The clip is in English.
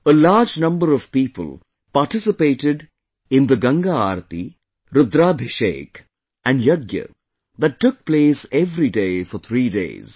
A large number of people participated in the Ganga Aarti, Rudrabhishek and Yajna that took place every day for three days